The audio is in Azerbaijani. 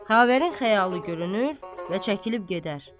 Xavərin xəyalı görünür və çəkilib gedər.